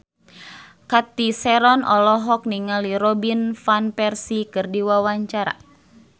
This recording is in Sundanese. Cathy Sharon olohok ningali Robin Van Persie keur diwawancara